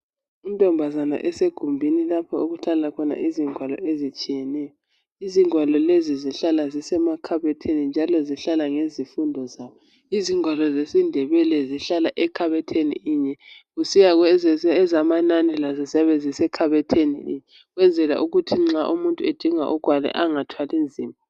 Intombazana esegumbini lapho okuhlala khona izingwalo ezitshiyeneyo. Izingwalo lezi zihlala zisemakhabothini njalo zihlala ngezifundo zazo. Izingwalo zesiNdebele zihlala ekhabothini inye, kusiya kwezamanani lazo ziyabe zisekhabothini inye, ukwenzela ukuthi nxa umuntu edinga ugwalo engathwali nzima.